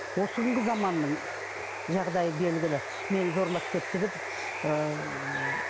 осы күнгі заманның жағдайы белгілі мені зорлап кетті деп ыыы